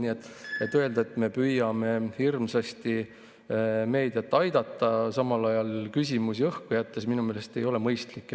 Nii et öelda, et me püüame meediat hirmsasti aidata, samal ajal küsimusi õhku jättes, ei ole minu meelest mõistlik.